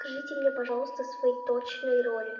скажите мне пожалуйста свои точные роли